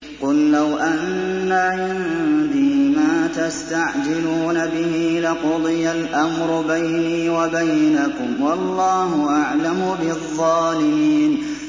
قُل لَّوْ أَنَّ عِندِي مَا تَسْتَعْجِلُونَ بِهِ لَقُضِيَ الْأَمْرُ بَيْنِي وَبَيْنَكُمْ ۗ وَاللَّهُ أَعْلَمُ بِالظَّالِمِينَ